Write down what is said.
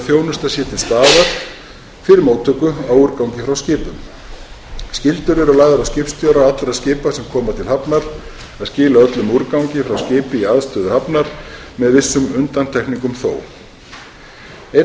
þjónusta sé til staðar fyrir móttöku á úrgangi frá skipum þær skyldur eru lagðar á skipstjóra allra skipa sem koma til hafnar að skila öllum úrgangi frá skipi í aðstöðu hafnar með vissum undantekningum þó einnig er lagt til